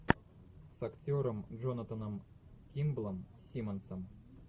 с актером джонатаном кимблом симмонсом